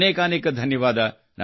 ಅನೇಕಾನೇಕ ಧನ್ಯವಾದ